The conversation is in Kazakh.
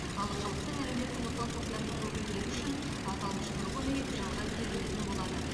ал халықтың әлеуметтік осал топтарының өкілдері үшін аталмыш тұрғын үй жалға берілетін болады